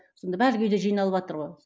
сонда үйде жиналыватыр ғой